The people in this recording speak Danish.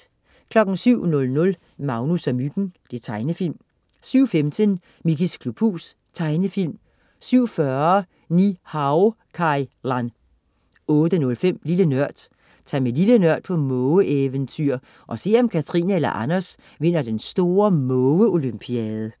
07.00 Magnus og Myggen. Tegnefilm 07.15 Mickeys klubhus. Tegnefilm 07.40 Ni-Hao Kai Lan 08.05 Lille Nørd. Tag med Lille Nørd på måge-eventyr, og se om Katrine eller Anders vinder den store mågeolympiade